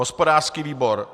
hospodářský výbor: